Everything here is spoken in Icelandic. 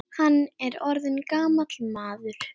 Hann er orðinn gamall maður.